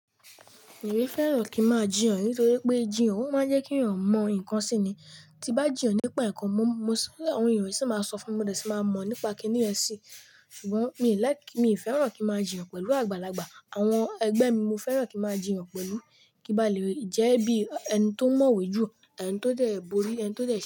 Èmi fẹ́ràn kí ń máa jiyàn nítorí pé jìyàn máa ń jẹ́ kí èèyàn mọ ǹkan síni. Ti bá jiyàn nípa ǹkan, mo, mo sọ́ ọ̀rọ̀ èèyàn sì máa sọ fún mi mo dẹ̀ ti máa mọ̀ nípa kíní ẹ̀ sí. Ṣùgbọ́n mi ò like, mi ò fẹ́ràn kí máa jiyàn pẹ̀lú àgbàlagbà. Àwọn ẹgbẹ́ mi, mo fẹ́ràn kí máa jiyàn pẹ̀lú. Kibà lè jẹ́ bí ẹni tó mọ̀wé jù, ẹni tó dẹ̀ bori, ẹni tó dẹ̀ ṣe.